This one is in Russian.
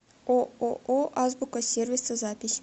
ооо азбука сервиса запись